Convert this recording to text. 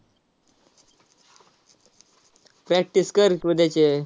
practice कर की उद्याचे.